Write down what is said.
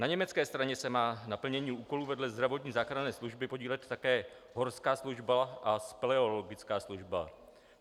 Na německé straně se má na plnění úkolů vedle zdravotní záchranné služby podílet také horská služba a speleologická služba.